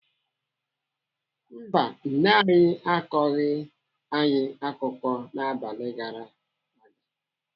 Mba, nne anyị akọghị anyị akụkọ n'abalị gara aga.